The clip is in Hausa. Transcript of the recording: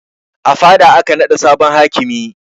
A fada aka naɗa sabon hakimi